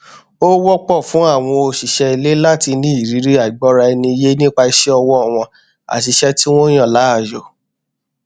ó wọpọ fún àwọn òṣìṣẹ ilé láti ní ìrírí àìgbọraẹniyé nípa iṣẹ ọwọ wọn àti iṣẹ tí wọn yàn láàyò